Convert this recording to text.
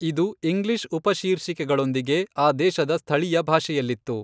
ಇದು ಇಂಗ್ಲಿಷ್ ಉಪಶೀರ್ಷಿಕೆಗಳೊಂದಿಗೆ ಆ ದೇಶದ ಸ್ಥಳೀಯ ಭಾಷೆಯಲ್ಲಿತ್ತು.